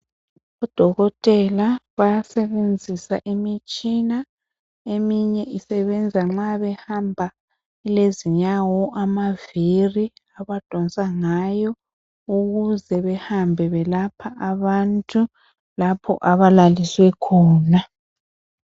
Odokotela bayasebenzisa imitshina. Eminye isebenza nxa behamba. Ilezinyawo, amaviri. Abadonsa ngayo. Ukuze behambe belapha abantu, lapha abalaliswe khona.